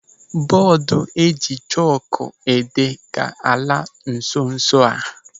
Bọọdu eji chọkụ ede ga-ala nso nso a.